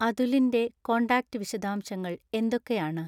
അതുലിൻ്റെ contact വിശദാംശങ്ങൾ എന്തൊക്കെയാണ്